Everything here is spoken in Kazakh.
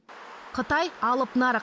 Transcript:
қытай алып нарық